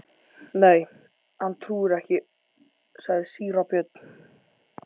Nei, hann trúir ekki, sagði síra Björn.